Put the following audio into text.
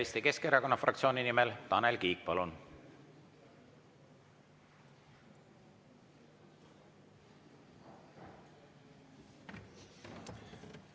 Eesti Keskerakonna fraktsiooni nimel Tanel Kiik, palun!